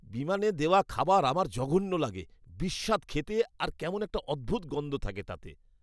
বিমানে দেওয়া খাবার আমার জঘন্য লাগে। বিস্বাদ খেতে আর কেমন একটা অদ্ভুত গন্ধ থাকে তাতে।